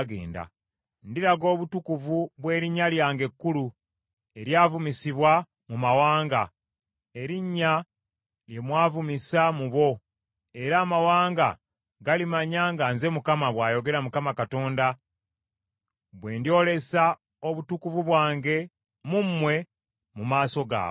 Ndiraga obutukuvu bw’erinnya lyange ekkulu, eryavumisibwa mu mawanga, erinnya lye mwavumisa mu bo, era amawanga galimanya nga nze Mukama , bw’ayogera Mukama Katonda, bwe ndyolesa obutukuvu bwange mu mmwe mu maaso gaabwe.